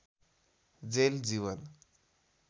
jail Jeevan